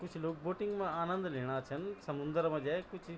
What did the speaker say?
कुछ लोग बोटिंग मा आनन्द लेणा छन समुंदर मा जैक कुछ।